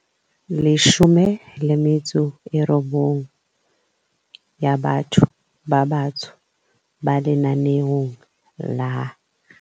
19 tsa batho ba batsho ba lenaneong la